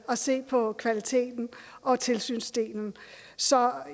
at se på kvaliteten og tilsynsdelen så